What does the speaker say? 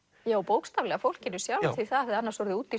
og bókstaflega fólkinu sjálfu því það hefði annars orðið úti